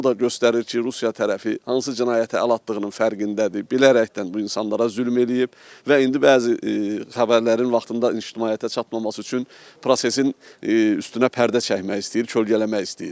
Bu da göstərir ki, Rusiya tərəfi hansı cinayətə əl atdığının fərqindədir, bilərəkdən bu insanlara zülm eləyib və indi bəzi xəbərlərin vaxtında ictimaiyyətə çatmaması üçün prosesin üstünə pərdə çəkmək istəyir, kölgələmək istəyir.